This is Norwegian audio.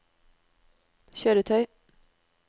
kjøretøy